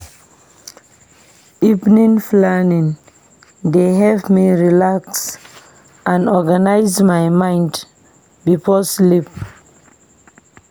Evening planning dey help me relax and organize my mind before sleep.